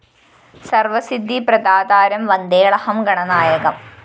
സര്‍വസിദ്ധി പ്രദാതാരം വന്ദേളഹം ഗണനായകം